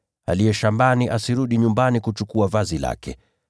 Aliye shambani asirudi nyumbani kuchukua vazi lake.